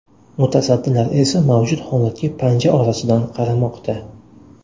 Mutasaddilar esa mavjud holatga panja orasidan qaramoqda.